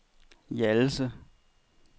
Hjallese